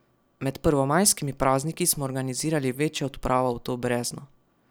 Med prvomajskimi prazniki smo organizirali večjo odpravo v to brezno.